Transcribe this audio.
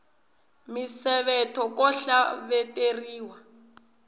misevetho ko hleveteriwa